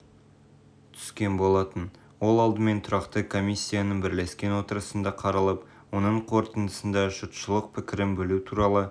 түскен болатын ол алдымен тұрақты комиссияның бірлескен отырысында қаралып оның қорытындысында жұртшылық пікірін білу туралы